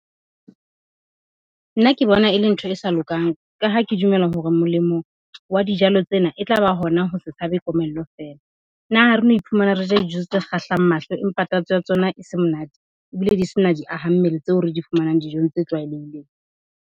Nna ke bona e le ntho e sa lokang, ka ha ke dumela hore molemo wa dijalo tsena e tlaba hona ho se tshabe komello feela. Na ha reno iphumana re ja dijo tse kgahlang mahlo empa tatso ya tsona e se monate? Ebile di sena di ahammele tseo re di fumanang dijong tse tlwaelehileng.